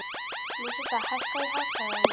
Lúsinda, hækkaðu í hátalaranum.